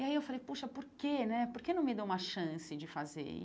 E aí eu falei, poxa, por que né por que não me dou uma chance de fazer?